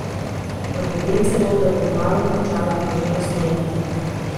Napove celo, da bo kmalu končala njuno razmerje.